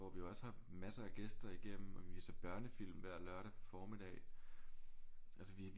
Hvor vi også har masser af gæster igennem og vi viser børnefilm hver lørdag formiddag altså vi